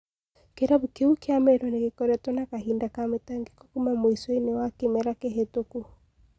Kĩrabu kĩu kĩa Meru nĩgĩkoretwo na kahinda ka mĩtangiko kuuma mũico- inĩ wa Kĩmera kĩhĩtũku